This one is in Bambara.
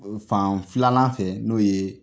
Fan filanan fɛ n'o ye